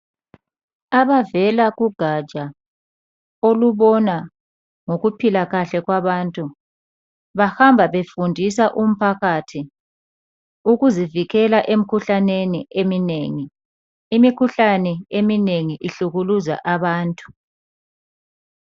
Abavela kugatsha olubona ngokuphila kahle kwabantu bahamba befundisa umphakathi ukuzivikela emkhuhlaneni eminengi. Imikhuhlane eminengi ihlukuluza abantu.